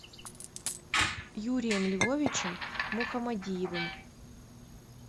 юрием львовичем мухамадиевым